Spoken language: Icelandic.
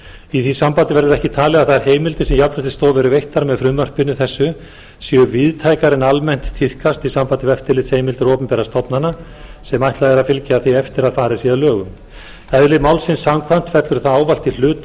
í því sambandi verður ekki talið að þær heimildir sem jafnréttisstofu eru veittar með frumvarpi þessu séu víðtækari en almennt tíðkast í sambandi við eftirlitsheimildir opinberra stofnana sem ætlað er að fylgja því eftir að farið sé að lögum eðli málsins samkvæmt fellur það ávallt í hlut